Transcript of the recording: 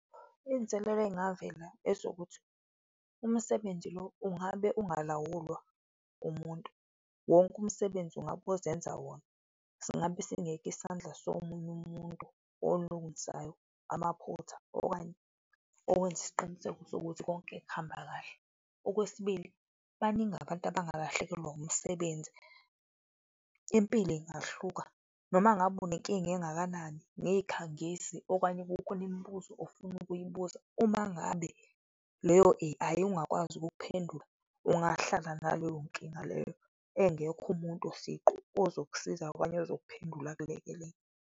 Izinselelo ezingavela ezokuthi umsebenzi lo ungabe ungalawulwa umuntu, wonke umsebenzi ungabe uzenza wona, singabe singekho isandla somunye umuntu olungisayo amaphutha okanye owenza isiqiniseko sokuthi konke kuhamba kahle. Okwesibili, baningi abantu abangalahlekelwa umsebenzi, impilo ingahluka, noma ngabe unenkinga engakanani ngezikhangisi okanye kukhona imibuzo ofuna ukuyibuza, uma ngabe leyo ayi, ungakwazi ukuwuphendula, ungahlala naleyo nkinga leyo, engekho umuntu siqu ozokusiza okanye ozokuphendula akulekelele.